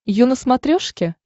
ю на смотрешке